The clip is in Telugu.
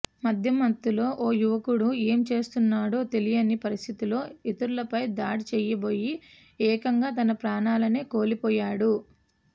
మద్యం మత్తులో ఓ యువకుడు ఏం చేస్తున్నాడో తెలియని పరిస్థితిలో ఇతరులపై దాడి చేయబోయి ఏకంగా తన ప్రాణాలనే కోల్పోయాడు